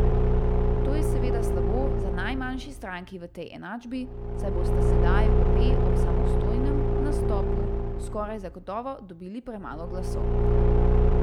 To je seveda slabo za najmanjši stranki v tej enačbi, saj bosta sedaj obe ob samostojnem nastopu skoraj zagotovo dobili premalo glasov.